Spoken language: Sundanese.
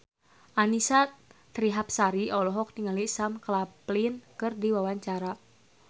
Annisa Trihapsari olohok ningali Sam Claflin keur diwawancara